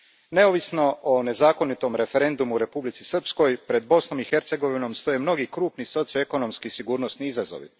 Neovisno o nezakonitom referendumu u Republici Srpskoj, pred Bosnom i Hercegovinom stoje mnogi krupni socioekonomski i sigurnosni izazovi.